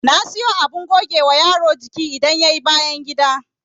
Na sayo abin gogewa yaro jiki idan yayi bayangida